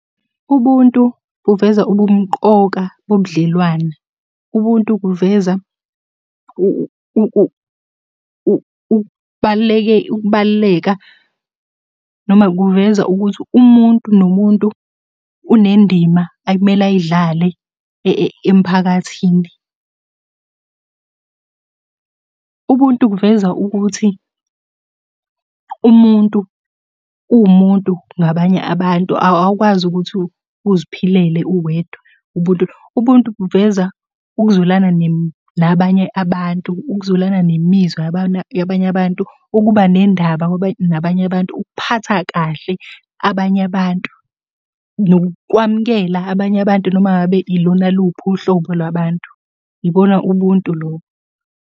Ubuntu buveza ubumqoka bobudlelwane. Ubuntu kuveza ukubaluleka, noma kuveza ukuthi umuntu nomuntu unendima akumele ayidlale emphakathini. Ubuntu kuveza ukuthi umuntu uwumuntu ngabanye abantu awukwazi ukuthi uziphilele uwedwa ubuntu. Ubuntu buveza ukuzwelana nabanye abantu, ukuzwelana nemizwa yabanye abantu. Ukuba nendaba nabanye abantu. Ukuphatha kahle abanye abantu, nokwamukela abanye abantu noma ngabe ilona luphi uhlobo lwabantu. Ibona ubuntu lobo.